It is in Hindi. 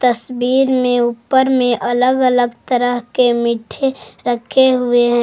तस्वीर में ऊपर में अलग अलग तरह के मीठे रखे हुए हैं।